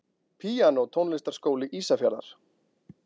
Píanó Tónlistarskóli Ísafjarðar.